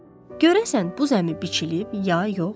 Görəsən, bu zəmi biçilib ya yox?